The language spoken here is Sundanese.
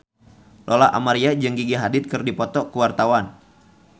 Lola Amaria jeung Gigi Hadid keur dipoto ku wartawan